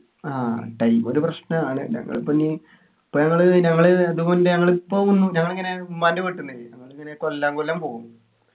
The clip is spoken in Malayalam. ആഹ് time ഒരു പ്രശ്‌നാണ് നങ്ങളിപ്പൊ ഇനി ഇപ്പൊ ഞങ്ങള് ഞങ്ങള് അത് മുന്നേ ഞങ്ങളിപ്പോ ഞങ്ങളിങ്ങനെ ഉമ്മാന്റെ വീട്ടിന്നേ ഞങ്ങളിങ്ങനെ കൊല്ലാം കൊല്ലം പോകും